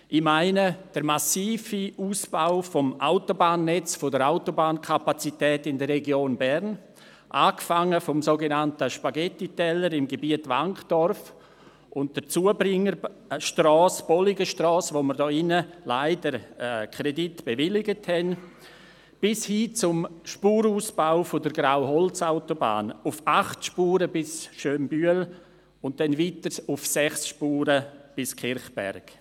Ich meine damit den massiven Ausbau des Autobahnnetzes, der Autobahnkapazität in der Region Bern, angefangen beim sogenannten Spaghetti-Teller im Gebiet Wankdorf und der Zubringerstrasse, der Bolligenstrasse, für die wir leider einen Kredit bewilligt haben, bis hin zum Spurenausbau der Grauholz-Autobahn auf acht Spuren bis nach Schönbühl, und dann auf sechs Spuren bis nach Kirchberg.